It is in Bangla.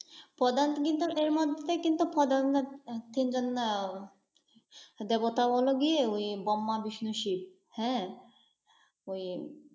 কিন্তু এর মধ্যে কিন্তু দেবতা বল গিয়ে ওই ব্রহ্মা, বিষ্ণু, শিব। হ্যাঁ ওই